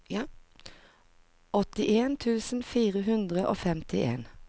åttien tusen fire hundre og femtien